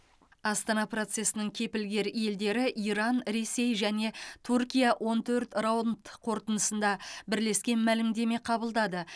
астана процесінің кепілгер елдері иран ресей және түркия он төрт раунд қорытындысында бірлескен мәлімдеме қабылдады